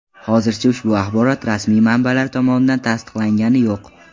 Hozircha ushbu axborot rasmiy manbalar tomonidan tasdiqlanganicha yo‘q.